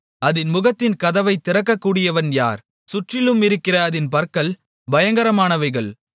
அதின் முகத்தின் கதவைத் திறக்கக்கூடியவன் யார் சுற்றிலுமிருக்கிற அதின் பற்கள் பயங்கரமானவைகள்